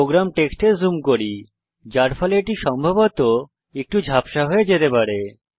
programme টেক্সটে zoom করি যার ফলে এটি সম্ভবত একটু ঝাপসা হয়ে যেতে পারে